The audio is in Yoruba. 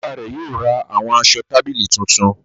Bayba rẹ yóò rà awọn aṣọ tábìlì tuntun.